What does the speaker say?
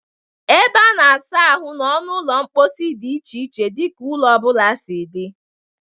Ebe a na-asa ahụ n'ọnụ ụlọ mkposi dị iche n'iche dị ka ụlọ ọ bụla si dị.